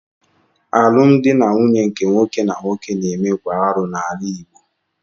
Alụmdi na nwunye nke nwoke na nwoke na-eme bụ arụ n'ala Igbo.